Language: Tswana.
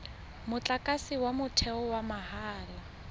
motlakase wa motheo wa mahala